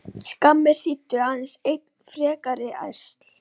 Skammir þýddu aðeins enn frekari ærsl.